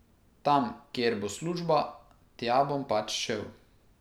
Tam, kjer bo služba, tja bom pač šel.